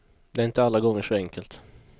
Det är inte alla gånger så enkelt.